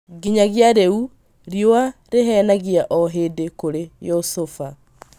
Nginyagia rĩu rĩua rĩhenagia o hĩndĩ kũrĩ Youssoufa